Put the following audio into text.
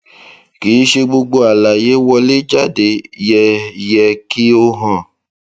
kì í ṣe gbogbo àlàyé wọléjáde yẹ yẹ kí ó hàn